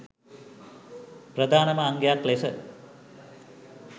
ප්‍රධානම අංගයක් ලෙස